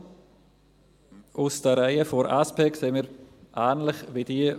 Die Motion aus den Reihen der SP sehen wir ähnlich wie jene